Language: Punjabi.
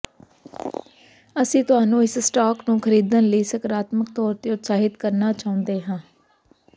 ਅਸੀਂ ਤੁਹਾਨੂੰ ਇਸ ਸਟਾਕ ਨੂੰ ਖਰੀਦਣ ਲਈ ਸਕਾਰਾਤਮਕ ਤੌਰ ਤੇ ਉਤਸ਼ਾਹਿਤ ਕਰਨਾ ਚਾਹੁੰਦੇ ਹਾਂ